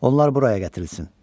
Onlar buraya gətirilsin.